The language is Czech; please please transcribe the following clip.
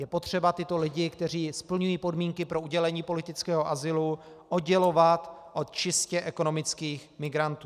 Je potřeba tyto lidi, kteří splňují podmínky pro udělení politického azylu, oddělovat od čistě ekonomických migrantů.